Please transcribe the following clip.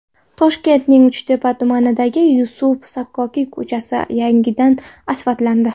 Toshkentning Uchtepa tumanidagi Yusuf Sakkokiy ko‘chasi yangidan asfaltlandi.